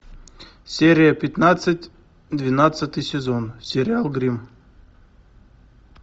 серия пятнадцать двенадцатый сезон сериал гримм